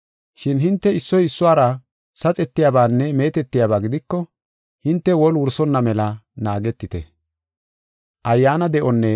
Shin hinte issoy issuwara saxetiyabaanne meetetiyabaa gidiko, hinte woli wursonna mela naagetite.